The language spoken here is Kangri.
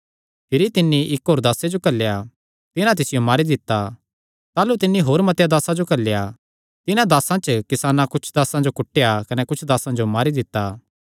भिरी तिन्नी इक्क होर दासे जो घल्लेया तिन्हां तिसियो मारी दित्ता ताह़लू तिन्नी होर मतेआं दासां जो घल्लेया तिन्हां दासां च किसानां कुच्छ दासां जो कुटेया कने कुच्छ दासां जो मारी दित्ता